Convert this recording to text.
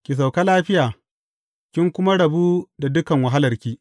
Ki sauka lafiya, kin kuma rabu da dukan wahalarki.